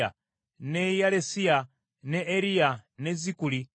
ne Yaalesiya, ne Eriya, ne Zikuli.